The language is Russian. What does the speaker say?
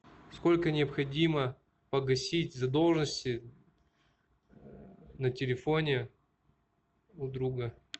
сколько необходимо погасить задолженности на телефоне у друга